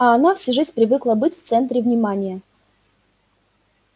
а она всю жизнь привыкла быть в центре внимания